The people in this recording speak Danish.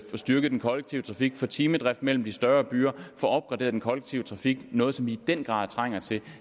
styrket den kollektive trafik få timedrift mellem de større byer få opgraderet den kollektive trafik noget som vi i den grad trænger til